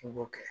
I b'o kɛ